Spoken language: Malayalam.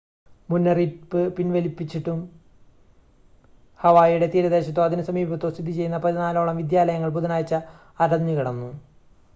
മുന്നറിയിപ്പ് പിൻവലിച്ചിട്ടും ഹവായിയുടെ തീരദേശത്തോ അതിനു സമീപത്തോ സ്ഥിതിചെയ്യുന്ന പതിനാലോളം വിദ്യാലയങ്ങൾ ബുധനാഴ്ച അടഞ്ഞുകിടന്നു